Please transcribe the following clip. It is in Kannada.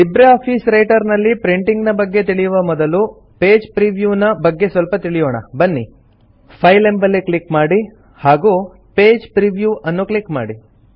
ಲಿಬ್ರೆ ಆಫೀಸ್ ರೈಟರ್ ನಲ್ಲಿ ಪ್ರಿಂಟಿಂಗ್ ನ ಬಗ್ಗೆ ತಿಳಿಯುವ ಮೊದಲು ಪೇಜ್ ಪ್ರಿವ್ಯೂ ನ ಬಗ್ಗೆ ಸ್ವಲ್ಪ ತಿಳಿಯೋಣ ಬನ್ನಿ ಫೈಲ್ ಎಂಬಲ್ಲಿ ಕ್ಲಿಕ್ ಮಾಡಿ ಹಾಗೂ ಪೇಜ್ ಪ್ರಿವ್ಯೂ ಅನ್ನು ಕ್ಲಿಕ್ ಮಾಡಿ